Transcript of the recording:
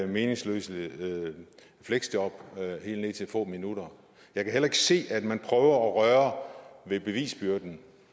meningsløse fleksjob på helt ned til få minutter jeg kan heller ikke se at man prøver at røre ved bevisbyrden